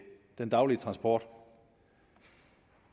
den daglige transport